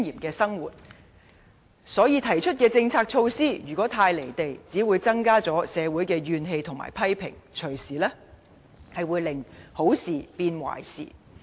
如果政府提出的政策措施不切實際，便只會增加社會的怨氣和批評，隨時令好事變壞事。